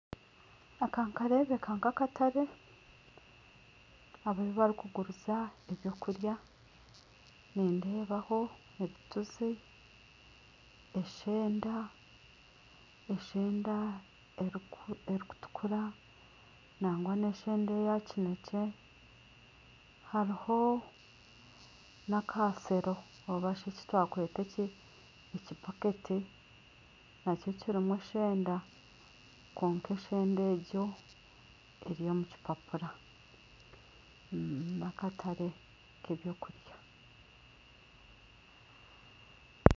Aka nikarebeka nk'akatare ahu barikuguriza ebyokurya nindebaho ebituzi, eshenda erikutukura nangwa na eshenda eyakinekye hariho n'akashero oba eki twakweta ekibaketi nakyo kirimu eshenda kwonka eshenda egyo eri omu kipapura ni akatare ka ebyokurya.